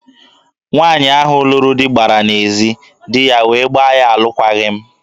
Nwaanyị ahụ lụrụ di gbara n'ezi, di ya wee gbaa ya alụkwaghị m.